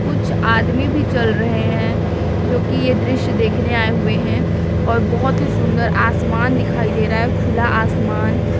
कुछ आदमी भी चल रहे हैं जो कि यह दृश्य देखने आए हुए हैं और बहोत ही सुंदर आसमान दिखाई दे रहा है खुला आसमान।